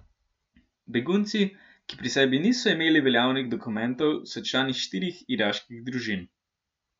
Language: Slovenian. Begunci, ki pri sebi niso imeli veljavnih dokumentov, so člani štirih iraških družin.